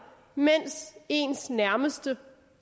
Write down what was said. mens ens nærmeste